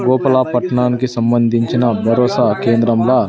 లోపల పట్నానికి సంబంధించిన భరోసా కేంద్రంలా--